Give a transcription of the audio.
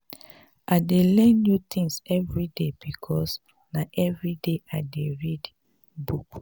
i dey learn new tins everyday because na everyday i dey read book.